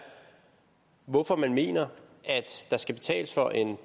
hvorfor man mener at der skal betales for en